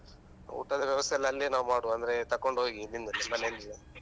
ಊಟದ ವ್ಯವಸ್ಥೆ ಎಲ್ಲ ಅಲ್ಲಿಯೆ ನಾವ್ ಮಾಡುವ ಅಂದ್ರೆ ತಕೊಂಡ್ ಹೋಗಿ ನಿಮ್ದು ಮನೆಯಿಂದ.